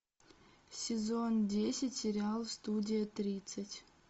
сезон десять сериал студия тридцать